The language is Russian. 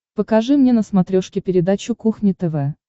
покажи мне на смотрешке передачу кухня тв